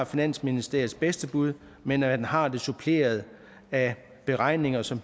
finansministeriets bedste bud men at man har det suppleret af beregninger som